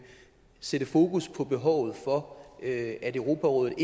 sætte fokus på behovet for at europarådet